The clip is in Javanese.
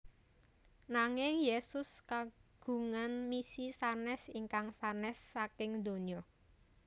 Nanging Yésus kagungan misi sanès ingkang sanès saking donya